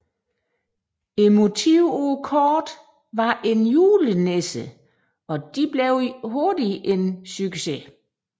Kortenes motiv var en julenisse og de blev hurtigt en succes